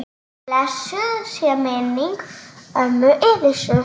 Blessuð sé minning ömmu Elísu.